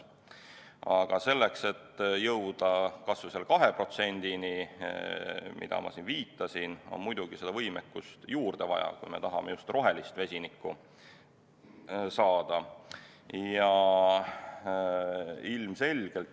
Aga selleks, et jõuda kas või 2%-ni, nagu ma siin viitasin, on muidugi võimekust juurde vaja, kui me tahame just rohelist vesinikku saada.